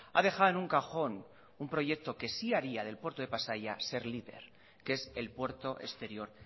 ha dejado en un cajón un proyecto que sí haría del puerto de pasaia ser líder que es el puerto exterior